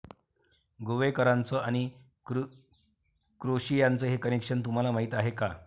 गोवेकरांचं आणि क्रोशियाचं हे कनेक्शन तुम्हाला माहित आहे का?